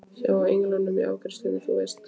Hjá englinum í afgreiðslusalnum, þú veist.